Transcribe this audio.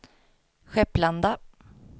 Skepplanda